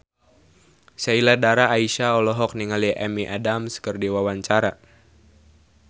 Sheila Dara Aisha olohok ningali Amy Adams keur diwawancara